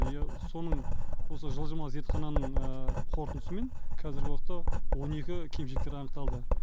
иә соның осы жылжымалы зертхананың қорытындысымен қазіргі уақытта он екі кемшіліктер анықталды